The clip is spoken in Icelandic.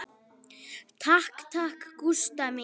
Takk takk, Gústa mín.